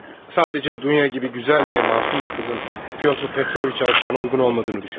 Sadəcə Dunya kimi gözəl və məsum bir qızın Pyotr Petroviç alçağına uyğun olmadığını düşünürəm.